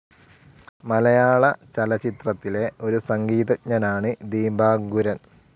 മലയാളചലച്ചിത്രത്തിലെ ഒരു സംഗീതജ്ഞനാണ് ദീപാങ്കുരൻ.